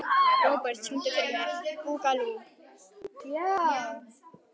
Robert, syngdu fyrir mig „Búkalú“.